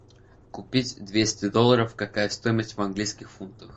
купить двести долларов какая стоимость в английских фунтах